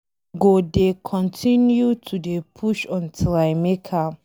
I go dey continue to dey push untill I make am.